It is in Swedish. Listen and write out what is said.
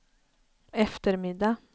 eftermiddag